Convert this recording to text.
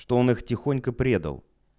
что он их тихонько предал